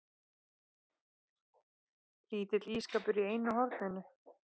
Lítill ísskápur í einu horninu.